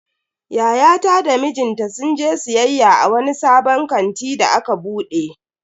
Yayata da mijinta sun je siyayya a wani sabon kanti da aka bude.